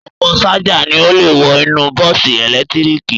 Ọ̀pọ̀ ṣájà ni ó le wọ inú bọ́ọ́sì ẹ̀lẹ́tíríkì